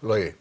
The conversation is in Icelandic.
logi